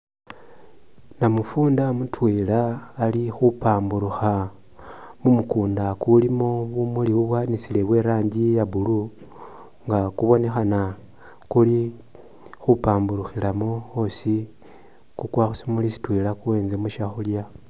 Namufunda mutwela ali khupamburukha mumukunda kulimo bumuli bubwanisile bweranji iya blue nga kubonekhana kuli khupamburukhilamo osi kukwa khusimuli shitwela kuwentsemo shakhulya.